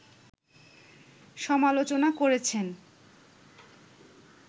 সমালোচনা করেছেন